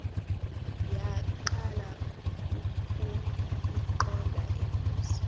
yaqala ukuyiqonda ingozi